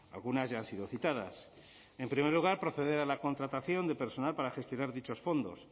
algunas ya han sido citadas en primer lugar proceder a la contratación de personal para gestionar dichos fondos